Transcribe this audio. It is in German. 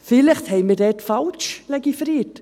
Vielleicht haben wir dort falsch legiferiert.